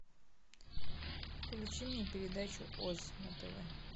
включи мне передачу оз на тв